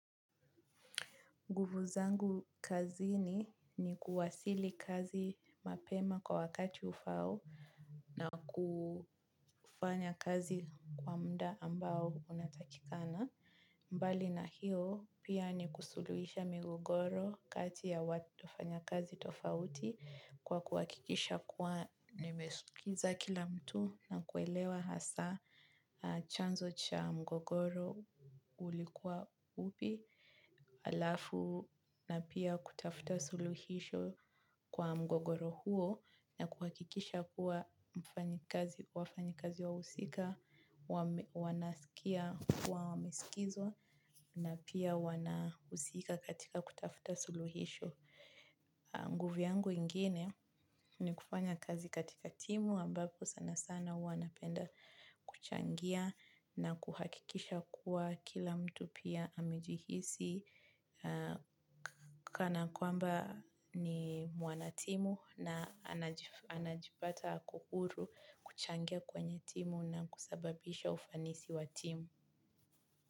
Nguvu zangu kazini ni kuwasili kazi mapema kwa wakati ufao na kufanya kazi kwa mda ambao unatakikana. Mbali na hiyo pia ni kusuluisha migogoro kati ya wafanya kazi tofauti kwa kuakikisha kuwa nimesikiza kila mtu na kuelewa hasaa chanzo cha mgogoro ulikuwa upi. Alafu na pia kutafuta suluhisho kwa mgogoro huo na kuhakikisha kuwa wafanyikazi wahusika, wanaskia wa meskizwa na pia wana usika katika kutafuta suluhisho. Nguvu yangu ingine ni kufanya kazi katika timu ambapo sana sana huwa napenda kuchangia na kuhakikisha kuwa kila mtu pia amejihisi kana kwamba ni mwanatimu na anajipata kukuru kuchangia kwenye timu na kusababisha ufanisi wa timu.